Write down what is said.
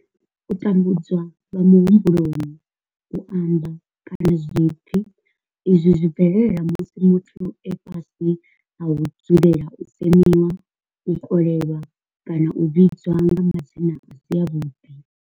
U tambudzwa lwa muhumbulo, u amba, kana zwipfi izwi zwi bvelela musi muthu e fhasi ha u dzulela u semiwa, u kolelwa kana u vhidzwa nga madzina a si avhuḓi.